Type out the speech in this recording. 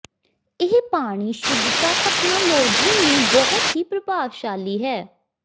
ਇਹ ਪਾਣੀ ਸ਼ੁੱਧਤਾ ਤਕਨਾਲੋਜੀ ਨੂੰ ਬਹੁਤ ਹੀ ਪ੍ਰਭਾਵਸ਼ਾਲੀ ਹੈ